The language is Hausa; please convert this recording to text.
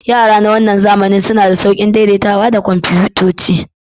Yara na wannan zamanin suna da sauƙin daidaitawa da kwamfutoci.